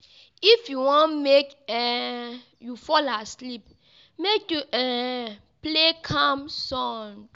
If you wan make um you fall asleep, make you um play calm sound.